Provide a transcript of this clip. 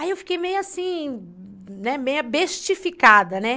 Aí eu fiquei meio assim, né, meio abestificada, né?